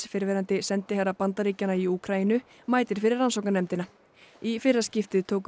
fyrrverandi sendiherra Bandaríkjanna í Úkraínu mætir fyrir rannsóknarnefndina í fyrra skiptið tóku